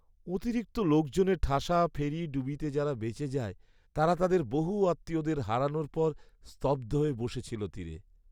অতিরিক্ত লোকজনে ঠাসা ফেরি ডুবিতে যারা বেঁচে যায়, তারা তাদের বহু আত্মীয়দের হারানোর পর স্তব্ধ হয়ে বসে ছিল তীরে।